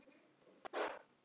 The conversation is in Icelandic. Þú kemst þangað upp.